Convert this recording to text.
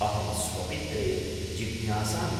अहं स्वपित्रे जिज्ञासामि।